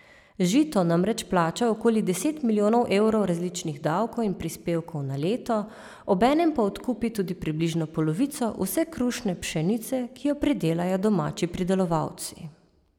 Žito namreč plača okoli deset milijonov evrov različnih davkov in prispevkov na leto, obenem pa odkupi tudi približno polovico vse krušne pšenice, ki jo pridelajo domači pridelovalci.